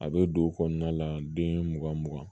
A bɛ don o kɔnɔna la den mugan mugan